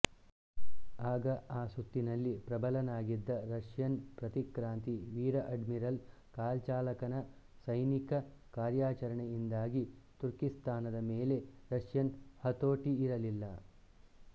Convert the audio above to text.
ಆಗ ಆ ಸುತ್ತಿನಲ್ಲಿ ಪ್ರಬಲನಾಗಿದ್ದ ರಷ್ಯನ್ ಪ್ರತಿಕ್ರಾಂತಿ ವೀರ ಅಡ್ಮಿರಲ್ ಕಾಲ್ಚಾಕನ ಸೈನಿಕ ಕಾರ್ಯಾಚರಣೆಯಿಂದಾಗಿ ತುರ್ಕಿಸ್ತಾನದ ಮೇಲೆ ರಷ್ಯನ್ ಹತೋಟಿಯಿರಲಿಲ್ಲ